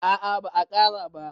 a a ba a Kara ba